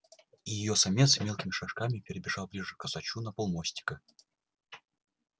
и её самец мелкими шажками перебежал ближе к косачу на полмостика